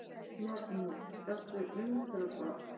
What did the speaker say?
Magnús: Ertu undrabarn?